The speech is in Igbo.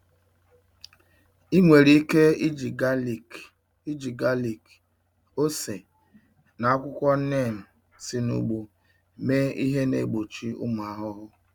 Ị nwere ike iji galik, ike iji galik, ose, na akwụkwọ neem si n'ugbo mee ihe na-egbochi ụmụ ahụhụ.